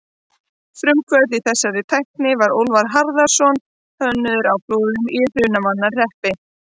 Frumkvöðull í þessari tækni var Úlfar Harðarson hönnuður á Flúðum í Hrunamannahreppi.